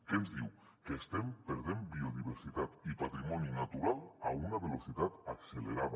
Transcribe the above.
què ens diu que estem perdent biodiversitat i patrimoni natural a una velocitat accelerada